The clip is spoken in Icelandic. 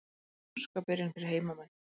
Óska byrjun fyrir heimamenn.